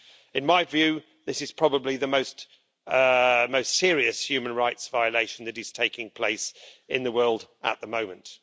In my view, this is probably the most serious human rights violation that is taking place in the world at the moment.